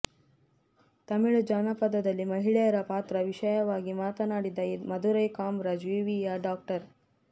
ತಮಿಳು ಜಾನಪದದಲ್ಲಿ ಮಹಿಳೆಯರ ಪಾತ್ರ ವಿಷಯವಾಗಿ ಮಾತನಾಡಿದ ಮದುರೈ ಕಾಮರಾಜ್ ವಿವಿಯ ಡಾ